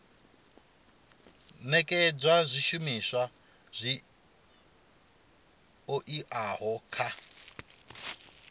nekedza zwishumiswa zwi oeaho kha